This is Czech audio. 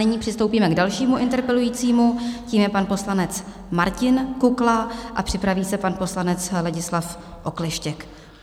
Nyní přistoupíme k dalšímu interpelujícímu, tím je pan poslanec Martin Kukla, a připraví se pan poslanec Ladislav Okleštěk.